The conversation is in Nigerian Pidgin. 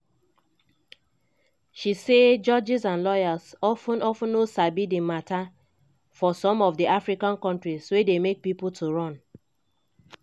she say "judges and lawyers of ten of ten no sabi di mata for some of di african kontris wey dey make pipo to run".